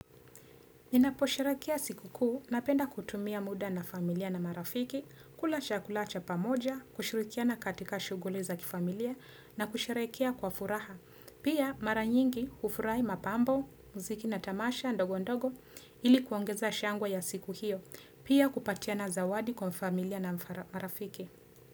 Ninaposherehekea siku kuu napenda kutumia muda na familia na marafiki, kula chakula cha pamoja, kushurikiana katika shughuli za kifamilia na kusherehekea kwa furaha. Pia mara nyingi hufurahia mapambo, muziki na tamasha ndogo ndogo ili kuongeza shangwe ya siku hiyo. Pia kupatiana zawadi kwa familia na marafiki.